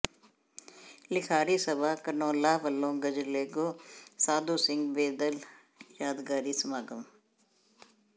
ਲਿਖਾਰੀ ਸਭਾ ਧਨੌਲਾ ਵਲੋਂ ਗ਼ਜ਼ਲਗੋ ਸਾਧੂ ਸਿੰਘ ਬੇਦਿਲ ਯਾਦਗਾਰੀ ਸਮਾਗਮ